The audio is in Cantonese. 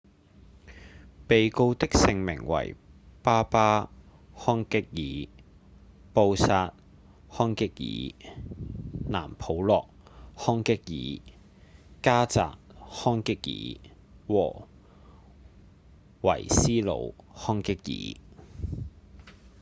被告的姓名為巴巴·康戛爾、布薩·康戛爾、藍普洛·康戛爾、迦札·康戛爾和維斯努·康戛爾